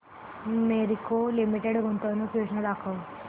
Marico limited गुंतवणूक योजना दाखव